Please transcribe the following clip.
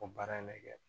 O baara in de kɛ